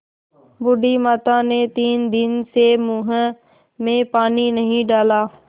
बूढ़ी माता ने तीन दिन से मुँह में पानी नहीं डाला